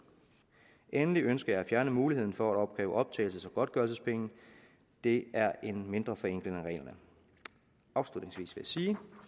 endelig ønsker jeg at fjerne muligheden for at opkræve optagelses og godtgørelsespenge det er en mindre forenkling af reglerne afslutningsvis